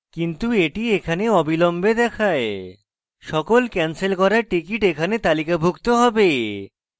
কিন্তু এটি এখানে অবিলম্বে দেখায় সকল ক্যানসেল করা tickets এখানে তালিকাভুক্ত হবে